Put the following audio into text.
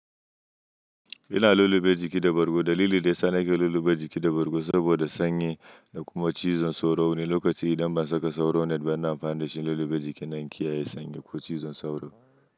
Ina lullube jiki da bargo. Dalili da ya sa nake lullube jiki da bargo saboda sanyi da kuma cizon sauro ne. Lokaci idan ban saka sauro net ba, ina amfani da shi lullube jikina in kiyaye sanyi ko cizon sauro.